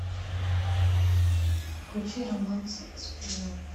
включи романс сплина